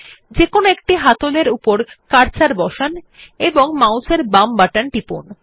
যেকোনো একটি হাতল এর উপর কার্সার বসান এবং মাউসের বাম বাটন টিপুন